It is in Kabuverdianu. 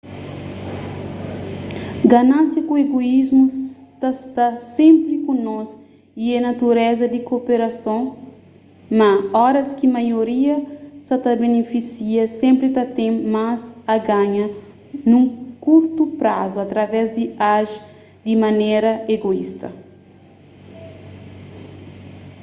ganánsia ku egoísmu ta sta senpri ku nos y é natureza di koperason ma óras ki maioria sa ta benifisia senpri ta ten más a ganha nun kurtu prazu através di aji di manera egoísta